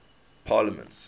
parliaments